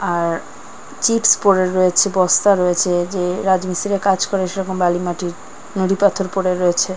আর chips পরে রয়েছে বস্তা রয়েছে যে রাজমিস্তিরিরা কাজ করে সেরকম বালি মাটির নুড়ি পাথর পরে রয়েছে ।